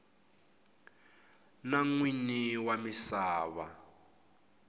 na n winyi wa misava